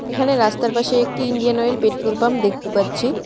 এখানে রাস্তার পাশে একটি ইন্ডিয়ান ওয়েল পেট্রোল পাম্প দেখতে পাচ্ছি।